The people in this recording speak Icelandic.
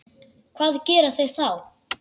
Hvað gera þeir þá?